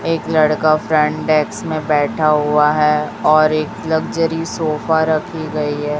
एक लड़का फ्रेंड एक्स में बैठा हुआ है और एक लग्जरी सोफा रखी गई है।